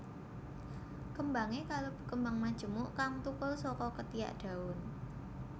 Kembangé kalebu kembang majemuk kang thukul saka ketiak daun